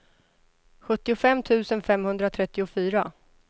sjuttiofem tusen femhundratrettiofyra